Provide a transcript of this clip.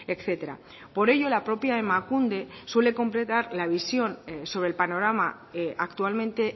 etcétera por ello la propia emakunde suele completar la visión sobre el panorama actualmente